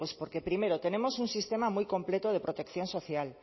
pues porque primero tenemos un sistema muy completo de protección social